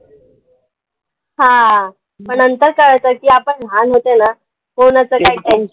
हा म नंतर कळत की आपण लहान होतो ना होन